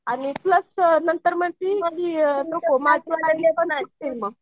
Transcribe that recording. आणि प्लस नंतर म्हणती